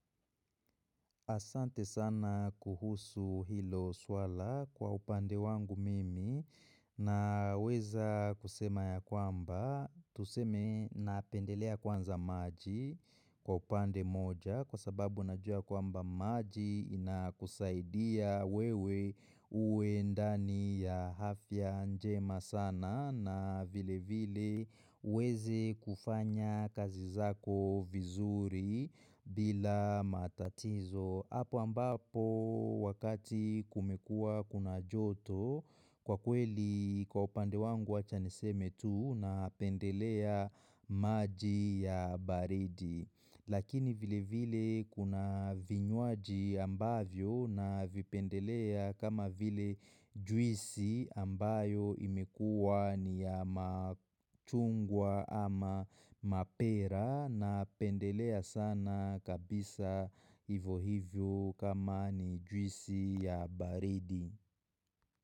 Asante sana kuhusu hilo swala kwa upande wangu mimi naweza kusema ya kwamba tuseme napendelea kwanza maji kwa upande mmoja kwa sababu najua kwamba maji inakusaidia wewe uwe ndani ya hafya njema sana na vile vile uweze kufanya kazi zako vizuri bila matatizo apo ambapo wakati kumekua kuna joto kwa kweli kwa upande wangu wacha niseme tu napendelea maji ya baridi Lakini vile vile kuna vinywaji ambavyo navipendelea kama vile juisi ambayo imekua ni ya machungwa ama mapera napendelea sana kabisa ivo hivyo kama ni juisi ya baridi.